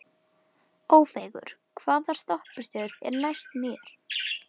Ófeigur, hvaða stoppistöð er næst mér?